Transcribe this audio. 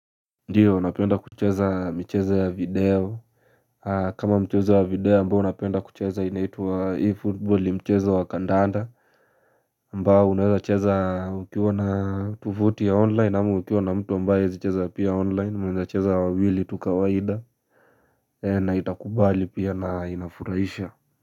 Ndiyo, napenda kucheza michezo ya video, kama mchezo wa video, ambao napenda kucheza inaitwa E-football, ni mchezo wa kandanda. Ambao unaweza kucheza ukiwa na tovuti ya online, ama ukiwa na mtu ambaye huzicheza pia online. Mnacheza wawili tu kawaida, na itakubali pia na inafurahisha.